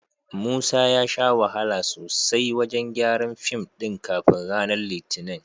Musa ya sha wahala sosai wajen gyaran fim ɗin kafin ranar Litinin.